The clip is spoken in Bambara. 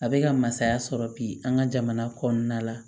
A bɛ ka masaya sɔrɔ bi an ka jamana kɔnɔna la